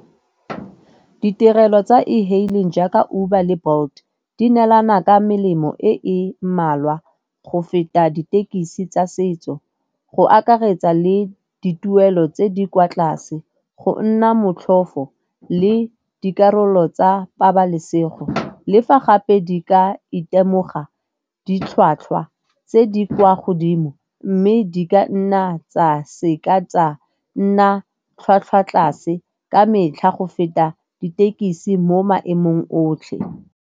Ditirelo tsa e-hailing jaaka Uber le Bolt di neelana ka melemo e e mmalwa go feta dithekisi tsa setso. Go akaretsa le dituelo tse di kwa tlase, go nna motlhofo le dikarolo tsa pabalesego. Le fa gape di ka itemoga ditlhwatlhwa tse di kwa godimo mme di ka nna tsa seka tsa nna tlhwatlhwa tlase ka metlha go feta ditekisi mo maemong otlhe.